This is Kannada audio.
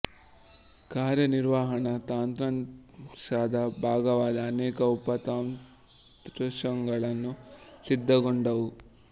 ಕಾರ್ಯು ನಿರ್ವಹಣಾ ತಂತ್ರಾಂಶದ ಭಾಗವಾದ ಅನೇಕ ಉಪ ತಂತ್ರಾಂಶಗಳು ಸಿದ್ಧಗೊಂಡವು